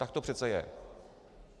Tak to přece je.